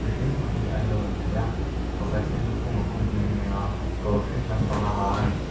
mihring pahnih an lo lang thei a pakhat hian lukhum a khum nghe nghe a kawr hring lampang a ha ani.